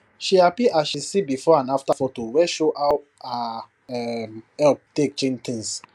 she happy as she see before and after photo wey show how her um help take change things